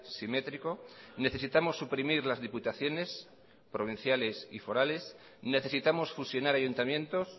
simétrico necesitamos suprimir las diputaciones provinciales y forales necesitamos fusionar ayuntamientos